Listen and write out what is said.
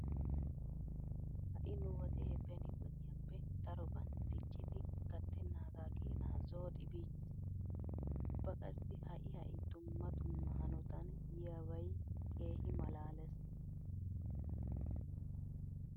Ha"i nu wodee beni wodiyappe daroban diccidi gattennaaga keenaa zooxi biichchiis. Ubba qassi ha"i ha"i dumma dumma hanotan yiyabay keehi malaalees.